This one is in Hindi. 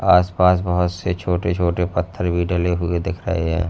आस पास बहोत से छोटे छोटे पत्थर भी डले हुए दिख रहे हैं।